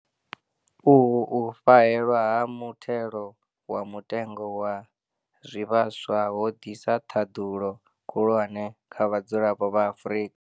Uhu u fhahewa ha muthelo wa mutengo wa zwivhaswa ho ḓisa ṱhaḓulo khulwane kha vhadzulapo vha Afrika